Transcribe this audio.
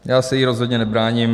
Já se jí rozhodně nebráním.